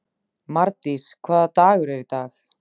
Mardís, hvaða dagur er í dag?